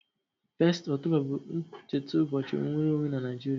1st October bu ncheta ubochi nnwere onwe na Naijiria